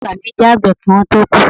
Baba agba mi je agbe ki won to ku